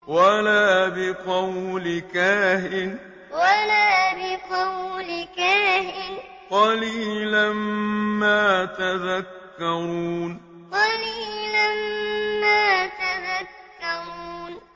وَلَا بِقَوْلِ كَاهِنٍ ۚ قَلِيلًا مَّا تَذَكَّرُونَ وَلَا بِقَوْلِ كَاهِنٍ ۚ قَلِيلًا مَّا تَذَكَّرُونَ